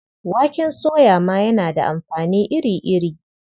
Waken soya ma yana da amfani iri-iri.